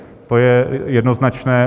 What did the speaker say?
To je jednoznačné.